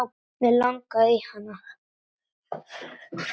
Mig langaði í hana.